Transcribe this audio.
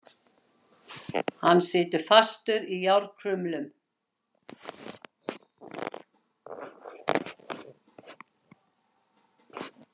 Hann situr fastur í járnkrumlum.